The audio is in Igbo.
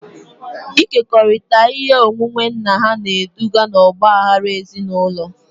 Ịkekọrịta ihe onwunwe nna ha na-eduga n'ọgba aghara ezinụlọ